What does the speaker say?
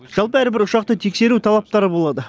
жалпы әрбір ұшақты тексеру талаптары болады